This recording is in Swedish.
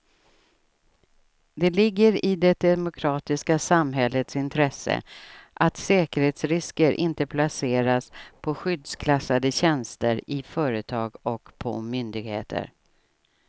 Det ligger i det demokratiska samhällets intresse att säkerhetsrisker inte placeras på skyddsklassade tjänster i företag och på myndigheter.